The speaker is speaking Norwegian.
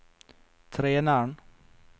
treneren